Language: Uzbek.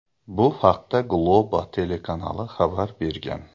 Bu haqda Globo telekanali xabar bergan .